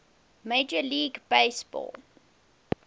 major league baseball